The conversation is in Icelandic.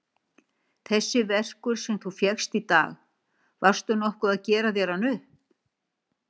Þessi verkur sem þú fékkst í dag. varstu nokkuð að gera þér hann upp?